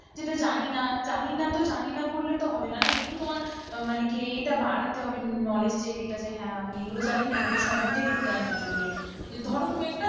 যেটা জানি না জানি না তো জানি না করলে হবে না না একটু তোমার মানে ইয়েটা বাড়াতে তবে knowledge এর ইয়েটা যে হেঁ, আমি এগুলো জানি এগুলোর সম্বন্ধে একটু জ্ঞান অর্জন করে, ধরো তুমি একটা,